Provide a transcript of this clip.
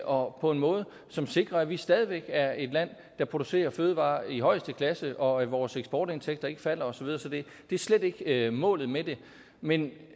og på en måde som sikrer at vi stadig væk er et land der producerer fødevarer i højeste klasse og at vores eksportindtægter ikke falder og så videre så det er slet ikke målet med det men